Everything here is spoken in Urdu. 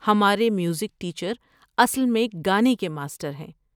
ہمارے میوزک ٹیچر اصل میں گانے کے ماسٹر ہیں۔